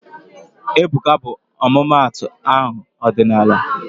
Ebuka bụ ọmụmaatụ aha ọdịnala